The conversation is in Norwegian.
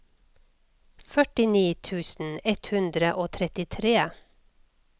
førtini tusen ett hundre og trettitre